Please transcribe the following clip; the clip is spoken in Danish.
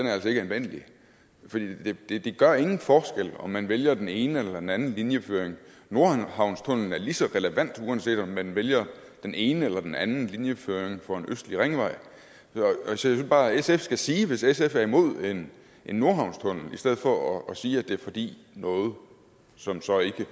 er altså ikke anvendelig fordi det det gør ingen forskel om man vælger den ene eller den anden linjeføring nordhavnstunnellen er lige så relevant uanset om man vælger den ene eller den anden linjeføring for en østlig ringvej jeg synes bare at sf skal sige det hvis sf er imod en nordhavnstunnel i stedet for at sige at det er fordi noget som så ikke